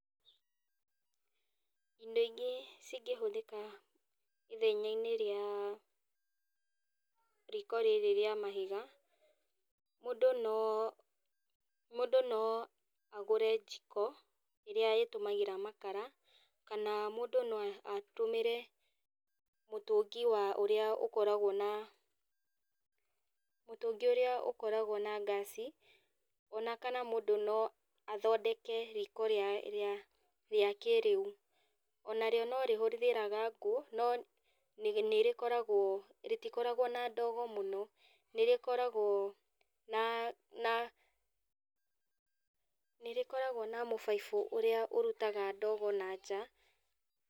Indo ingĩ cingĩhũthĩka ithenyainĩ rĩa riko rĩrĩ rĩa mahiga, mũndũ no mũndũ no agũre njiko, ĩrĩa ĩtũmagĩra makara, kana mũndũ no a atũmĩre mũtũngĩ wa ũrĩa ũkoragwo na mũtũngĩ ũrĩa ũkoragwo na ngasi, ona kana mũndũ no athondeke riko rĩa rĩa rĩa kĩrĩu. Ona rĩo no rĩhũthĩraga ngũ, no nĩ nĩrĩkoragwo rĩtikoragwo na ndogo mũno. Nĩrĩkoragwo na na nĩrĩkoragwo na mũbaibu ũrĩa ũrutaga ndogo nanja.